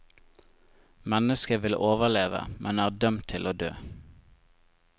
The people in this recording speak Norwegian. Mennesket vil overleve, men er dømt til å dø.